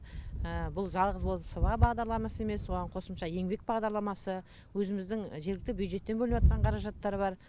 бұл жалғыз ол сыба бағдарламасы емес оған қосымша еңбек бағдарламасы өзіміздің жергілікті бюджеттен бөлініватқан қаражаттар бар